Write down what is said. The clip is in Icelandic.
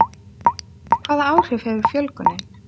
Hvaða áhrif hefur fjölgunin?